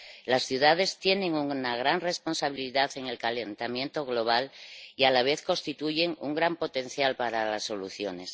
Las ciudades tienen una gran responsabilidad en el calentamiento global y a la vez constituyen un gran potencial para las soluciones.